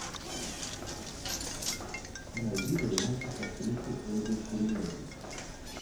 найди варианты с актрисой ольгой куриленко